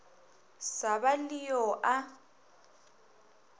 sa ba le yo a